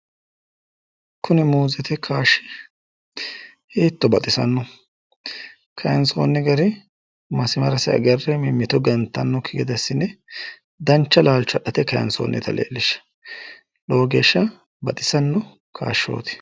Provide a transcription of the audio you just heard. Kuni muuzete kaayishi hiitto baxisanno, kaayinsoonni gari masimarasi agarre mimmito gantannokki assine dancha laalcho adhate kaayinsoonnita leellishshanno, lowo geeshsha baxisanno kaashooti